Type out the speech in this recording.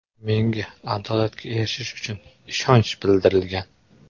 Menga adolatga erishish uchun ishonch bildirilgan!